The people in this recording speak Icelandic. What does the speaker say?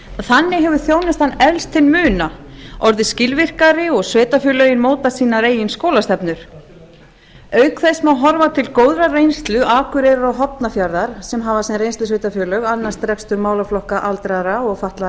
þannig hefur þjónustan eflst til muna orðið skilvirkari og sveitarfélögin mótað sínar eigin skólastefnur auk þess má horfa til góðrar reynslu akureyrar og hornafjarðar sem hafa sem reynslusveitarfélög annast rekstur málaflokka aldraðra og fatlaðra